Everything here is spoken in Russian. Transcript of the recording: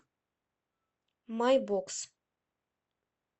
майбокс